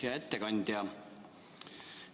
Hea ettekandja!